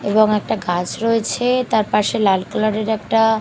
এবং একটা গাছ রয়েছে তার পাশে লাল কালারের একটা --